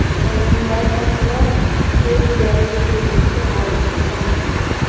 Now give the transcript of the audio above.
Ularning barchasida serbiyalik tennischi g‘olib chiqqan edi.